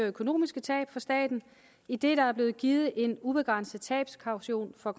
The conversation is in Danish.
økonomiske tab for staten idet der er blevet givet en ubegrænset tabskaution for